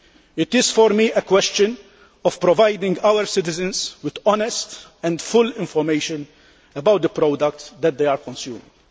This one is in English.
It is, for me, a question of providing our citizens with honest and full information about the products which they are consuming.